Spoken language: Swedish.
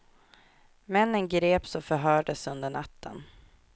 Männen greps och förhördes under natten.